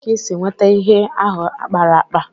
Ebéé ka ị si nwétá ihe ahụ a kpara ákpá?